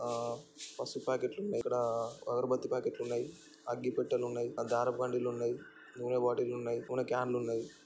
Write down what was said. ఆ పసుపు ప్యాకెట్ లున్నయ్ఇక్కడా అగర్ బత్తి ప్యాకెట్ లున్నయ్అగ్గి పెట్టెలున్నయ్ఆ దారప్ ఖండీలున్నయ్నూనె బాటిల్ లున్నయ్ నూనె క్యాన్ లున్నయ్.